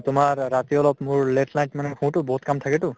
তোমাৰ ৰাতি অলপ মোৰ late night মানে শুতো বহুত কাম থাকেতো